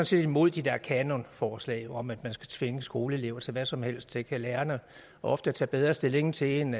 set imod de der kanonforslag om at man skal tvinge skoleelever til hvad som helst det kan lærerne ofte tage bedre stilling til end